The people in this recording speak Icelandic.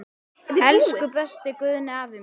Elsku besti Guðni afi minn.